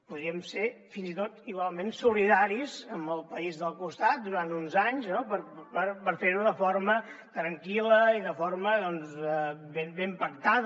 podríem ser fins i tot igualment solidaris amb el país del costat durant uns anys no per fer ho de forma tranquil·la i de forma ben pactada